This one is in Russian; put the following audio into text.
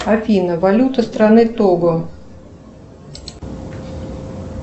афина валюта страны того